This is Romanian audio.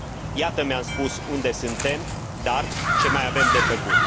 Iată, mi am spus, unde suntem, dar ce mai avem de făcut?